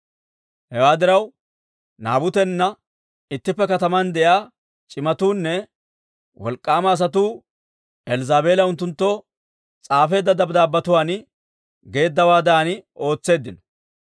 Hewaa diraw, Naabutena ittippe kataman de'iyaa c'imatuunne wolk'k'aama asatuu Elzzaabeela unttunttoo s'aafeedda dabddaabbetuwaan geeddawaadan ootseeddino.